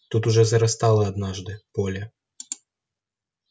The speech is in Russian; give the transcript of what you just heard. тут уже зарастало однажды поле